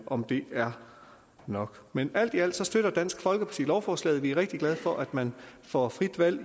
om det er nok men alt i alt støtter dansk folkeparti lovforslaget vi er rigtig glade for at man får frit valg